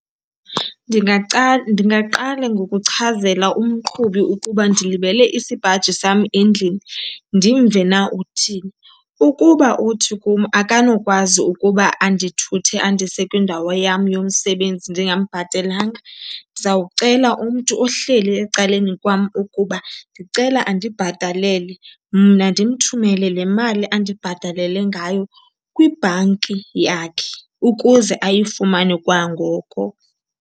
Ndingaqala ngokuchazela umqhubi ukuba ndilibele isipaji sam endlini, ndimve na uthini. Ukuba uthi kum akanokwazi ukuba andithuthe andise kwindawo yam yomsebenzi ndingambhatelanga, ndizawucela umntu ohleli ecaleni kwam ukuba ndicela andibhatalele mna ndimthumele le mali andibhatalele ngayo kwibhanki yakhe ukuze ayifumane kwangoko.